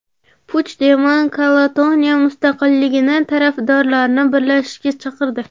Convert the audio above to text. Puchdemon Kataloniya mustaqilligi tarafdorlarini birlashishga chaqirdi.